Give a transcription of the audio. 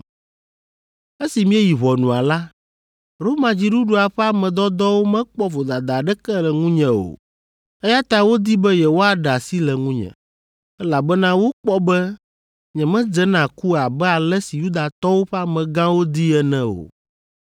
Esi míeyi ʋɔnua la, Roma dziɖuɖua ƒe ame dɔdɔwo mekpɔ vodada aɖeke le ŋunye o, eya ta wodi be yewoaɖe asi le ŋunye, elabena wokpɔ be nyemedze na ku abe ale si Yudatɔwo ƒe amegãwo dii ene o.